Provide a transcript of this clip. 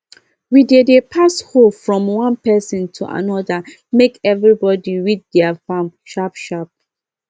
we dey dey pass hoe from one person to another make everybody weed their farm sharp sharp